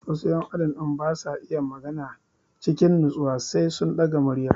Wasu ƴan adam din basa iya magana cikin natsuwa sai sun ɗaga murya